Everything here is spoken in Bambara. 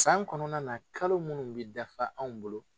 Kan kɔnɔna na , kalo munnu bi dafa anw bolo